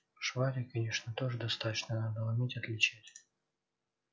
швали конечно тоже достаточно надо уметь отличать